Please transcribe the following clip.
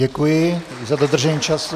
Děkuji za dodržení času.